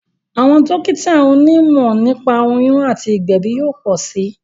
Àwọn dókítà oní mọ̀ nípa oyún àti ìgbèbí yóò pọ̀ sí